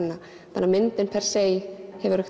þannig að myndin per se hefur